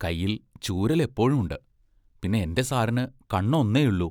കൈയിൽ ചൂരൽ എപ്പോഴുമുണ്ട്; പിന്നെ എന്റെ സാറിന് കണ്ണ് ഒന്നേയുള്ളു.